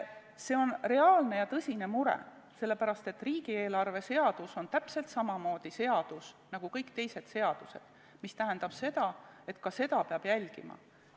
See on reaalne ja tõsine mure, sellepärast, et riigieelarve seadus on täpselt samamoodi seadus nagu kõik teised seadused, mis tähendab seda, et ka seda peab jälgima.